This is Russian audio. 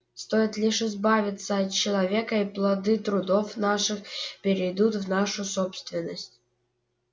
стоит лишь избавиться от человека и плоды трудов наших перейдут в нашу собственность